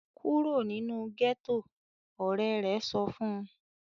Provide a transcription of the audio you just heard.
"Kúrò nínú gẹ́tọ̀!", Ọ̀rẹ́ rẹ̀ sọ fun